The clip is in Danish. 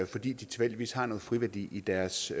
fordi de tilfældigvis har noget friværdi i deres